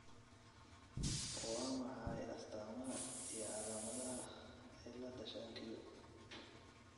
Waa maxay astamaha iyo calaamadaha cilada shan q ?